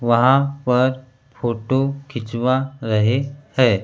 वहां पर फोटू खिंचवा रहे है।